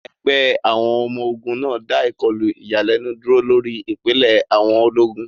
Ẹgbẹ́ ọmọ ogun náà dá ìkọlù ìyàlẹ́nu dúró lórí ìpìlẹ̀ àwọn ológun.